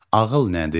Ağıl nədir?